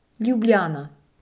Ljubljana.